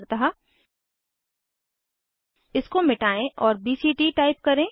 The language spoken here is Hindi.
उदाहरणतः इसको मिटायें और बीसीटी टाइप करें